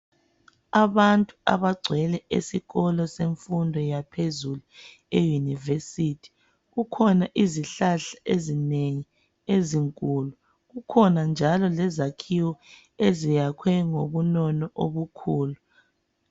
abantu abacwele esikolo semfundweni yaphezulu e university kukhona izihlahla ezinengi ezinkulu kukhona njalo lezakhiwo eziyakhwe ngobunono obukhulu